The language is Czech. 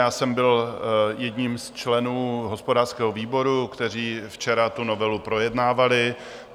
Já jsem byl jedním z členů hospodářského výboru, kteří včera tu novelu projednávali.